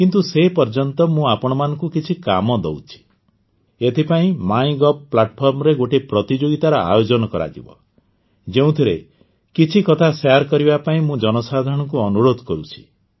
କିନ୍ତୁ ସେ ପର୍ଯ୍ୟନ୍ତ ମୁଁ ଆପଣମାନଙ୍କୁ କିଛି କାମ ଦେଉଛି ଏଥିପାଇଁ ମାଇ ଗଭ୍ ପ୍ଲାଟଫର୍ମରେ ଗୋଟିଏ ପ୍ରତିଯୋଗୀତାର ଆୟୋଜନ କରାଯିବ ଯେଉଁଥିରେ କିଛି କଥା ଶେୟାର କରିବା ପାଇଁ ମୁଁ ଜନସାଧାରଣଙ୍କୁ ଅନୁରୋଧ କରୁଛି